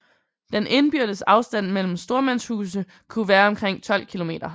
Den indbyrdes afstand mellem stormandshuse kunne være omkring 12 km